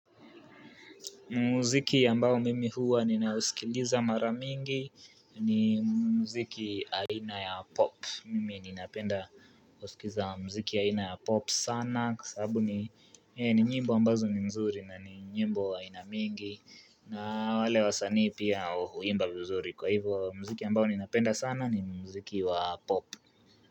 Mziki ambao mimi huwa ninausikiliza mara mingi ni mziki aina ya pop. Mimi ya ninapenda kusikiza mziki aina ya pop sana kwa sababu ni nyimbo ambazo ni mzuri na nyimbo ainamingi na wale wasanii pia huimba vizuri kwa hivyo mziki ambao ninapenda sana ni mziki wa pop.